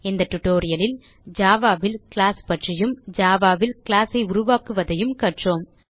இந்த tutorialலில் javaல் கிளாஸ் பற்றியும் ஜாவா ல் கிளாஸ் ஐ உருவாக்குவதையும கற்றோம்